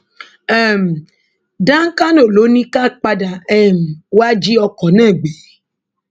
um dankano ló ní ká padà um wàá jí ọkọ náà gbé